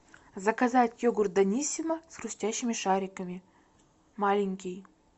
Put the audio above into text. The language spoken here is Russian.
заказать йогурт даниссимо с хрустящими шариками маленький